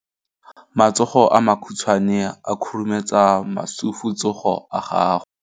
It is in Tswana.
Matsogo a makhutshwane a khurumetsa masufutsogo a gago.